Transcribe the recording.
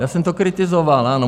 Já jsem to kritizoval, ano.